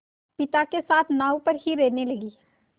पिता के साथ नाव पर ही रहने लगी